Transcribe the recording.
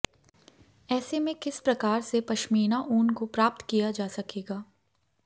ऐसे में किस प्रकार से पश्मीना ऊन को प्राप्त किया जा सकेगा